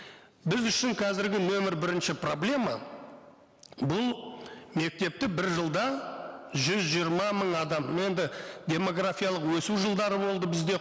біз үшін қазіргі нөмір бірінші проблема бұл мектепті бір жылда жүз жиырма мың адам енді демографиялық өсу жылдары болды бізде